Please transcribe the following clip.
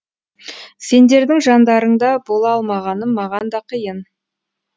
сендердің жандарыңда бола алмағаным маған да қиын